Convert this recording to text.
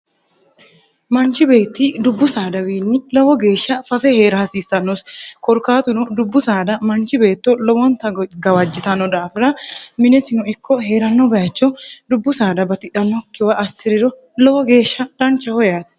manchi beetti dubbu saadawiinni lowo geeshsha fafe hee'ra hasiissannosi korkaatuno dubbu saada manchi beetto lowonta gawajjitanno daafira minesino ikko hee'ranno bayicho dubbu saada batidhannokkiwa assi'riro lowo geeshsha dancha ho yaate